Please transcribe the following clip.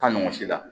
Taa ɲɔgɔn si la